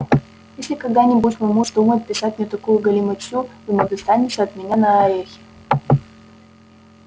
если когда-нибудь мой муж вздумает писать мне такую галиматью ему достанется от меня на орехи